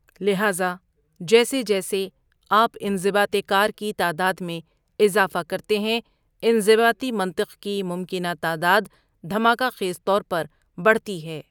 لہذا، جیسے جیسے آپ انضباط کار کی تعداد میں اضافہ کرتے ہیں، انضباطی منطق کی ممکنہ تعداد دھماکہ خیز طور پر بڑھتی ہے۔